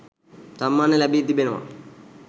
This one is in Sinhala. සම්මාන ලැබී තිබෙනවා.